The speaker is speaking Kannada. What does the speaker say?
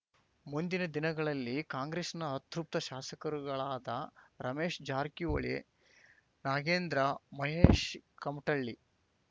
ಮುಂದಿನ ದಿನಗಳಲ್ಲಿ ಕಾಂಗ್ರೆಸ್‌ನ ಅತೃಪ್ತ ಶಾಸಕರುಗಳಾದ ರಮೇಶ್ ಜಾರಕಿಹೊಳಿ ನಾಗೇಂದ್ರ ಮಹೇಶ್ ಕಮಟಳ್ಳಿ